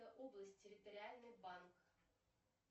области территориальный банк